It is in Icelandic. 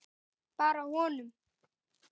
Bara honum.